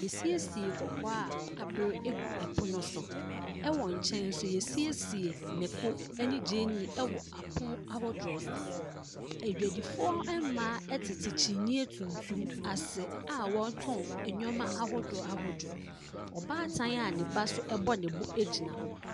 W'asiesie kɔkɔɔ a abere ɛgu ɛpono so. Ɛwɔ nkyɛn nso y'asiesie mako ɛne gyeene ɛwɔ apon ahodoɔ so. Adwadifoɔ ɛmaa ɛtete kyinyɛ tuntum ase a wɔɔtɔn nneɛma ahodoɔ ahodoɔ. Ɔbaatan a ne ba so ɛbɔ ne bo ɛgyina hɔ.